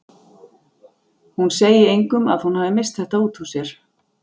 Hún segi engum að hún hafi misst þetta út úr sér.